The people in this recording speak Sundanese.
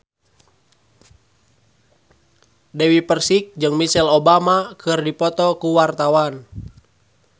Dewi Persik jeung Michelle Obama keur dipoto ku wartawan